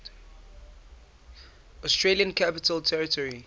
australian capital territory